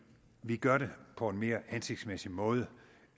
vi gør det på en mere hensigtsmæssig måde